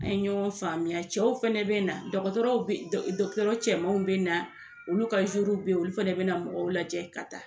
An ye ɲɔgɔn faamuya cɛw fɛnɛ be na, dɔkɔtɔrɔ dɔkɔtɔrɔ cɛmanw bɛ na olu ka bɛ yen, olu fɛnɛ bina mɔgɔw lajɛ ka taa.